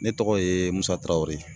Ne tɔgɔ ye Musa Tarawere.